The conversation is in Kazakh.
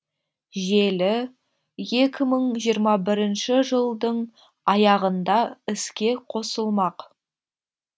желі екі мың жиырма бірінші жылдың аяғында іске қосылмақ